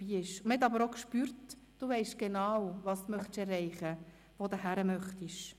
Man spürte aber auch, dass du genau weisst, was du erreichen und wohin du gehen möchtest.